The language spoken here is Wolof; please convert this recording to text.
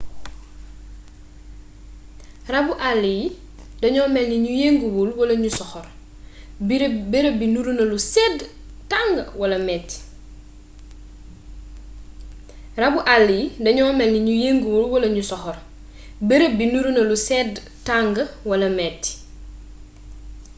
rabbu àll yi dañoo mélni ñu yënguwul wala ñu soxor bërëb bi niruna lu sédd tang wala métti